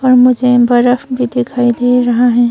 और मुझे बरफ भी दिखाई दे रहा है।